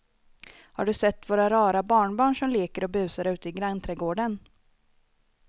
Har du sett våra rara barnbarn som leker och busar ute i grannträdgården!